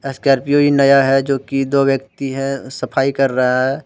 Scorpio भी नया है जो कि दो व्यक्ति है सफाई कर रहा है।